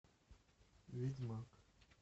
ведьмак